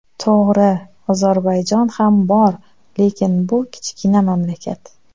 To‘g‘ri, Ozarbayjon ham bor, lekin bu kichkina mamlakat.